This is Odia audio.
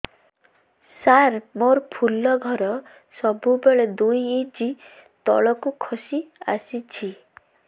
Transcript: ସାର ମୋର ଫୁଲ ଘର ସବୁ ବେଳେ ଦୁଇ ଇଞ୍ଚ ତଳକୁ ଖସି ଆସିଛି